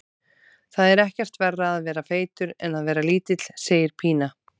Það er ekkert verra að vera feitur en að vera lítill, segir Pína.